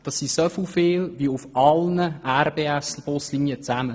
Dies sind so viele Passagiere wie auf allen 22 RBS-Buslinien zusammen.